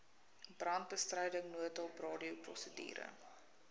brandbestryding noodhulp radioprosedure